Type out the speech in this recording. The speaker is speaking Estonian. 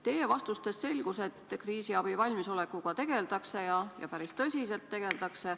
Teie vastustest selgus, et kriisiabi valmisolekuga tegeletakse, ja päris tõsiselt tegeletakse.